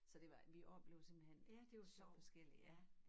Så det var vi oplevede simpelthen så forskellige ja